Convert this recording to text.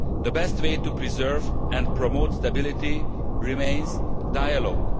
The best way to preserve and promote stability remains dialogue.